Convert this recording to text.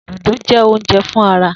Dodo jẹ ounjẹ fun ara.